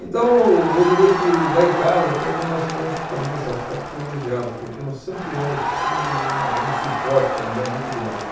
Então, eu diria que lá em casa até que nós fomos também nesse aspecto privilegiados, porque nós sempre tivemos todo uma um suporte familiar muito grande.